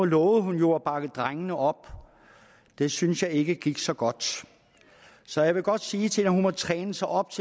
lovede jo at bakke drengene op det synes jeg ikke gik så godt så jeg vil godt sige til hende at hun må træne sig op